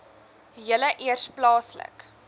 julle eers plaaslik